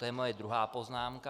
To je moje druhá poznámka.